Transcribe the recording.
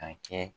A kɛ